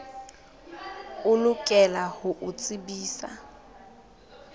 o lokela ho o tsebisa